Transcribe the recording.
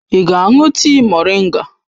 Ị ga-aṅụ tii moringa?